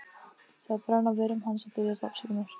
Það brann á vörum hans að biðjast afsökunar.